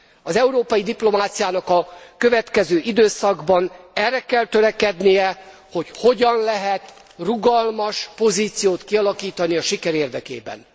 Az európai diplomáciának a következő időszakban arra kell törekednie, hogy hogyan lehet rugalmas pozíciót kialakítani a siker érdekében. Köszönöm a figyelmet.